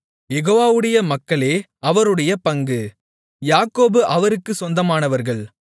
யெகோவாவுடைய மக்களே அவருடைய பங்கு யாக்கோபு அவருக்குச் சொந்தமானவர்கள்